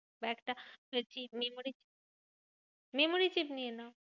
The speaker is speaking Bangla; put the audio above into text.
একটা chip memory memory chip নিয়ে নাও।